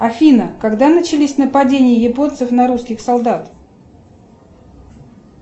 афина когда начались нападения японцев на русских солдат